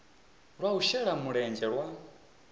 lwa u shela mulenzhe lwa